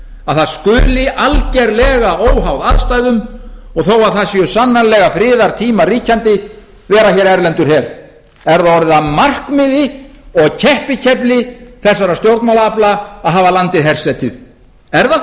að það skuli algerlega óháð aðstæðum og þó að það séu sannarlega friðartímar ríkjandi vera hér erlendur her er það orðið að markmiði og keppikefli þessara stjórnmálaafla að hafa landið hersetið er það